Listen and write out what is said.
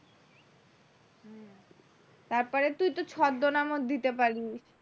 তারপরে তুই তো ছদ্মনামও দিতে পারিস।